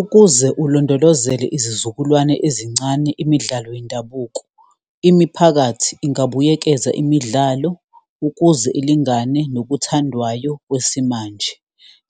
Ukuze ulondolozele izizukulwane ezincane imidlalo yendabuko, imiphakathi ingabuyekeza imidlalo ukuze ilingane nokuthandwayo kwesimanje.